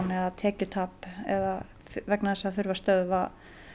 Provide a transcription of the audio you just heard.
eða tekjutap eða vegna þess að það þurfi að stöðva